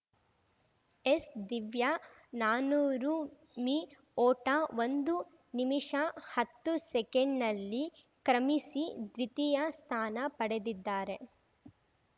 S Divya ನಾನೂರು ಮೀ ಓಟ ಒಂದು ನಿಮಿಷ ಹತ್ತು ಸೆಕೆಂಡ್‌ನಲ್ಲಿ ಕ್ರಮಿಸಿ ದ್ವಿತೀಯ ಸ್ಥಾನ ಪಡೆದಿದ್ದಾರೆ